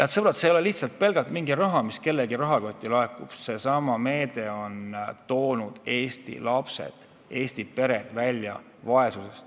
Head sõbrad, see ei ole pelgalt mingi raha, mis kellegi rahakotti laekub – seesama meede on toonud Eesti lapsed, Eesti pered vaesusest välja.